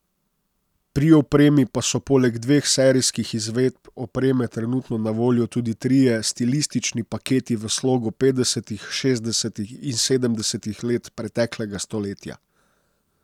Pri opremi pa so poleg dveh serijskih izvedb opreme trenutno na voljo tudi trije stilistični paketi v slogu petdesetih, šestdesetih in sedemdesetih let preteklega stoletja.